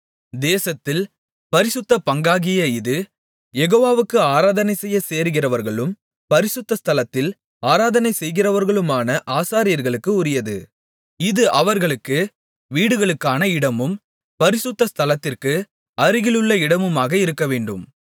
தேசத்தில் பரிசுத்த பங்காகிய இது யெகோவாவுக்கு ஆராதனைசெய்யச் சேருகிறவர்களும் பரிசுத்த ஸ்தலத்தில் ஆராதனை செய்கிறவர்களுமான ஆசாரியர்களுக்கு உரியது இது அவர்களுக்கு வீடுகளுக்கான இடமும் பரிசுத்த ஸ்தலத்திற்கு அருகிலுள்ள இடமுமாக இருக்கவேண்டும்